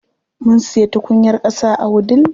Mun siya tukunyar ƙasa a wudil.